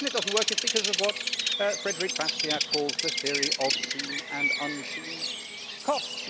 The reason it does not work is because of what Frédéric Bastiat calls the theory of seen and unseen costs.